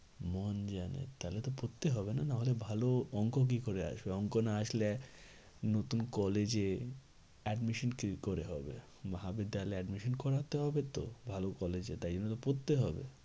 মন জানে তাহলে তো পড়তে হবে না নাহলে ভালো অঙ্ক কি করে আসবে? অঙ্ক না আসলে নতুন college এ admission কি করে হবে? তাহলে admission করাতে হবে তো ভালো college এ তাই জন্য তো পড়তে হবে।